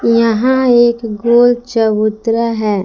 यहां एक गोल चबूतरा है।